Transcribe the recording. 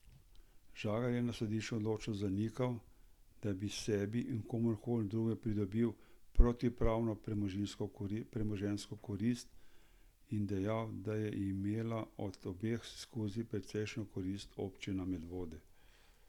Žagar je na sodišču odločno zanikal, da bi sebi ali komurkoli drugemu pridobil protipravno premoženjsko korist, in dejal, da je imela od obeh ekskurzij precejšnjo korist občina Medvode.